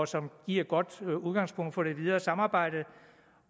som giver et godt udgangspunkt for det videre samarbejde